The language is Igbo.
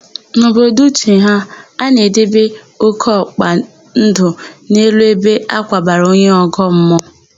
N'obodo Uche ha, a na-edebe ókéọkpa ndụ n'elu ebe a kwabara onye ọgọmmụọ.